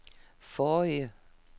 forrige